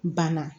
Banna